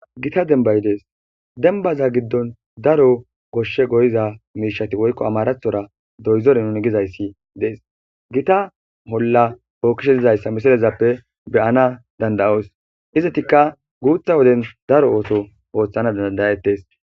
Gita denbbay dees. denbaza giddon daro goshshe goyiza miishati woykko amarathora doyzore nuni gizayssi dees. Gita olla bookkishe dizayssa misilezappe be7ana danda7oos Izatikka guutha woden daro ooto ooththana dandayettes.